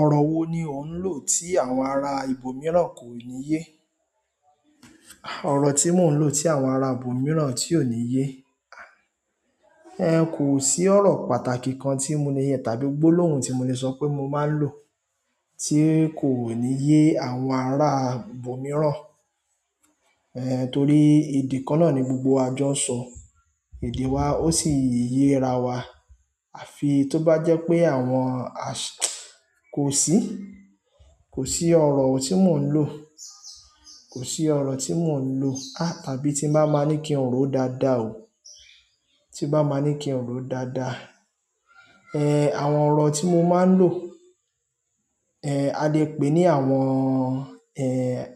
Ọ̀rọ̀ wo ni ò ń lò tí àwọn ará ibò mìíràn kò ní yé? Ọ̀rọ̀ tí mò ń lò tí àwọn ará ibò mìíràn tí ò ní yé, ẹn kò sí ọ̀rọ̀ pàtàkì kan tí mo ní yẹn tàbí gbólóhùn tí mo lè sọ pé mo máa ń lò tí kò ní yé àwọn ará ibò mìíràn. Ẹn torí èdè kan náà ni gbogbo wa jọ́ n sọ èdè wa ó sì yé ra wa. Àfi tó bá jẹ́ pé àwọn a ṣé, kò sí, kò sí ọ̀rọ̀ tí mò ń lò, kò sí ọ̀rọ̀ tí mò ń lò a tàbí tí bá máa ní kí n ró dáadáa o, tí bá máa ní kí n ró dáadáa. Ẹn àwọn ọ̀rọ̀ tí mo máa ń lò, ẹn a lè pè ní àwọn ẹ